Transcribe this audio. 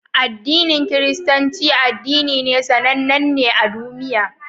Addinin Kiristanci addini ne sannan ne a dumiya